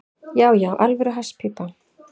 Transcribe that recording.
Já, já, alvöru hasspípa.